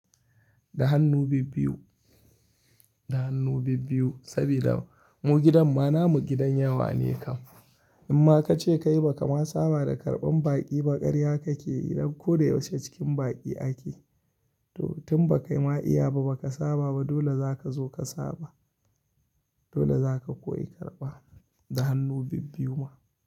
Da hannu bibbiyu, da hannu bibbiyu sabida mu gidan ma namu gidan yawa ne kam. Inma kace kai ba kama saba da karban baƙi ba ƙarya kake dan ko da yaushe cikin baƙi ake. To tun ba kai ma iya ba baka saba ba dole zaka zo ka saba. Dole zaka koyi karɓa da hannu bibbiyu ma.